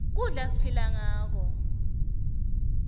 kudla siphila ngako